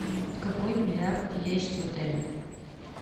какой бильярд есть в отеле